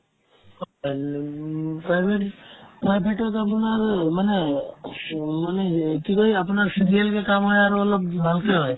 উম, private private তত আপোনাৰ মানে মানে হেই কি কই আপোনাৰ CVL কেইটা মই আৰু অলপ ভালকে হয়